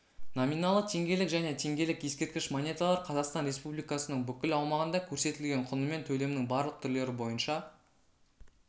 номиналы теңгелік және теңгелік ескерткіш монеталар қазақстан республикасының бүкіл аумағында көрсетілген құнымен төлемнің барлық түрлері бойынша